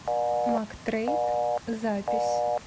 мактрейд запись